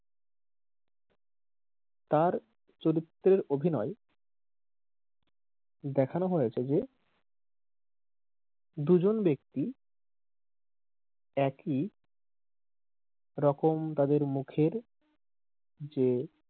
তার চরিত্রে অভিনয় দেখানো হয়েছে যে দুজন ব্যাক্তি একি রকম তাদের মুখের যে,